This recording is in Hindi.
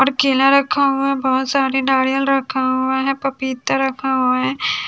और केला रखा हुआ बहोत सारे नारियल रखा हुआ है पपीता रखा हुआ है।